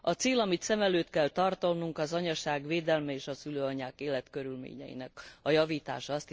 A cél, amit szem előtt kell tartanunk az anyaság védelme és a szülőanyák életkörülményeinek a javítása.